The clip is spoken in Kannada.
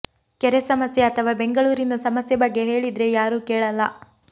ಕೆರೆ ಸಮಸ್ಯೆ ಅಥವಾ ಬೆಂಗಳೂರಿನ ಸಮಸ್ಯೆ ಬಗ್ಗೆ ಹೇಳಿದ್ರೆ ಯಾರೂ ಕೇಳಲ್ಲ